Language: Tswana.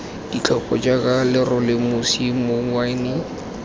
ditlhopha jaaka lerole mosi mouwane